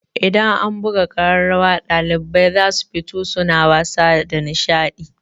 Idan an buga ƙararrawa ɗalibai za su fito suna wasa da nishaɗi.